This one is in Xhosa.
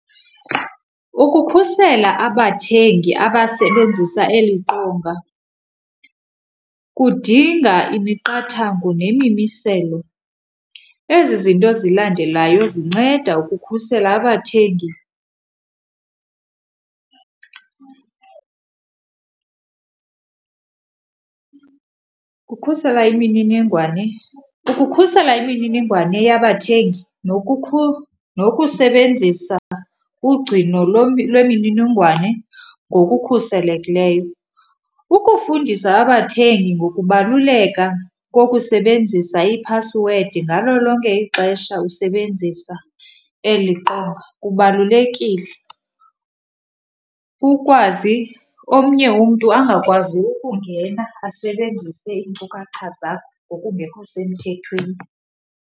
Ukukhusela abathengi abasebenzisa eli qonga kudinga imiqathango nemimiselo. Ezi zinto zilandelayo zinceda ukukhusela abathengi. Kukhusela imininingwane, ukukhusela imininingwane yabathengi nokusebenzisa ugcino lwemininingwane ngokukhuselekileyo. Ukufundisa abathengi ngokubaluleka kokusebenzisa iphasiwedi ngalo lonke ixesha usebenzisa eli qonga kubalulekile, kukwazi omnye umntu angakwazi ukungena asebenzise iinkcukacha zakho ngokungekho semthethweni.